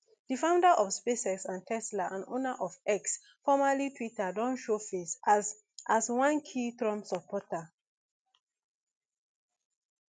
di founder of spacex and tesla and owner of x formerly twitter don show face as as one key trump supporter